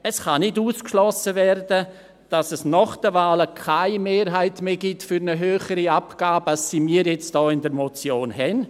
Es kann nicht ausgeschlossen werden, dass es nach den Wahlen keine Mehrheit mehr gibt für eine höhere Abgabe als sie hier in der Motion steht.